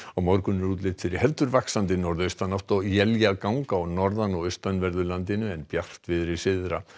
morgun er útlit fyrir heldur vaxandi norðaustanátt og éljagang á norðan og austanverðu landinu en bjartviðri syðra